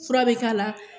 Fura bɛ k'a la